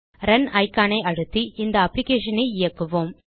ரூனிகான் ஐ அழுத்தி இந்த அப்ளிகேஷன் இயக்குவோம்